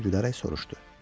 Qoca gülərək soruşdu.